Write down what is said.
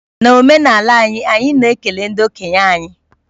N'omenala anyị, anyị na-ekele ndị okenye anyị